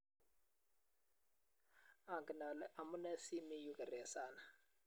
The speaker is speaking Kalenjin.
angen ale amunee si mii yu geresani